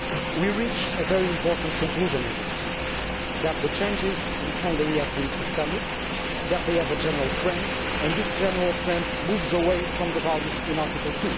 We reach a very important conclusion in this report that the changes in Hungary have been systemic, that they have a general trend and this general trend moves away from the values in Article